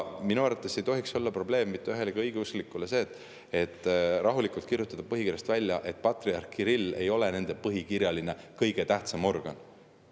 Minu arvates ei tohiks mitte ühelegi õigeusklikule olla probleem see, kui rahulikult põhikirjas, et patriarh Kirill ei ole nende põhikirjaline kõige tähtsam organ.